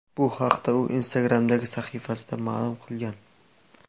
Bu haqda u Instagram’dagi sahifasida ma’lum qilgan .